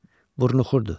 Burnu xurdu.